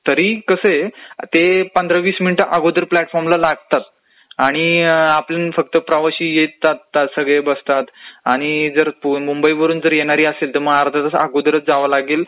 तरी कसं आहे ते पंधरा वीस मिनिट अगोदर प्लॅटफॉर्मला लागतात. आणि आपण फक्त प्रवासी येत जात असतात सगळे, ते बसतात आणि जर मुंबईवरून योणारी असेल तर अर्धा तास अगोदर जावं लागंल,